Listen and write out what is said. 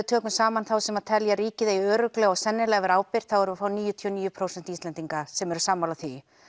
tökum saman þá sem telja ríkið eigi örugglega og sennilega að vera ábyrgt þá erum við að fá níutíu og níu prósent Íslendinga sem eru sammála því